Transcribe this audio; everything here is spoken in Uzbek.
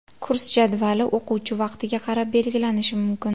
Kurs jadvali o‘quvchi vaqtiga qarab belgilanishi mumkin.